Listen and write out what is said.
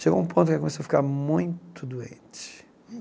Chegou um ponto que ela começou a ficar muito doente.